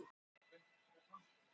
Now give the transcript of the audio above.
Tannlæknar segja sig frá samningi